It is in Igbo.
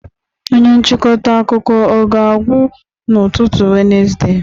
Onye nchịkọta akụkọ ọ ga-agwụ n'ụtụtụ Wenezde?